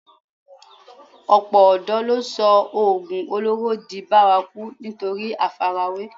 Ọ̀pọ̀ ọ̀dọ̀ ló sọ oògùn olóró di bárakú nítorí àfarawé